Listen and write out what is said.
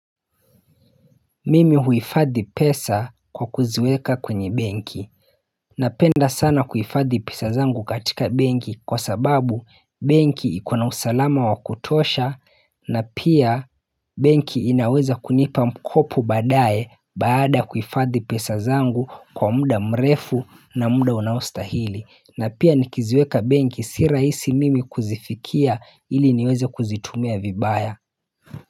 Mimi huifadhi pesa kwa kuziweka kwenye benki Napenda sana kuifadhi pesa zangu katika benki kwa sababu benki iko na usalama wa kutosha na pia benki inaweza kunipa mkopo baadaye baada ya kuifadhi pesa zangu kwa muda mrefu na muda unaostahili na pia nikiziweka benki si rahisi mimi kuzifikia ili niweze kuzitumia vibaya.